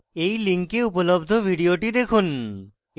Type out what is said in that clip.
এই link উপলব্ধ video দেখুন